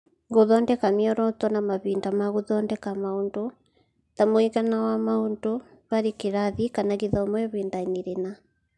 Gũthondeka mĩoroto na mahinda ma gũthondeka maũndũ (ta mũigana wa maũndũ harĩ kĩrathi / gĩthomo ihinda-inĩ rĩna).